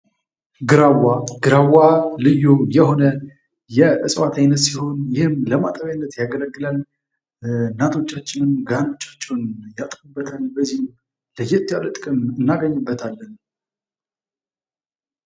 ግራዋ። ልዩ የሆነ የእጽዋትፅአይነት ሲሆን ይህም ለማጠቢያነት ያገለግላል። እናቶቻችንም ጋኖቻቸውን ያጥቡበበታል። በዚህም ለየት ያለ ጥቅም እናገኝበታለን።